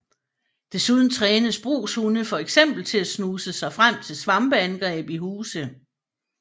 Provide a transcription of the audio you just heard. Desuden trænes brugshunde for eksempel at snuse sig frem til svampeangreb i huse